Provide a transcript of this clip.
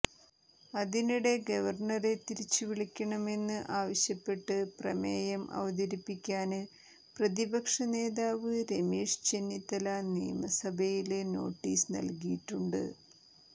അതിനിടെ ഗവര്ണറെ തിരിച്ച് വിളിക്കണമെന്ന് ആവശ്യപ്പെട്ട് പ്രമേയം അവതരിപ്പിക്കാന് പ്രതിപക്ഷ നേതാവ് രമേശ് ചെന്നിത്തല നിയമസഭയില് നോട്ടീസ് നല്കിയിട്ടുണ്ട്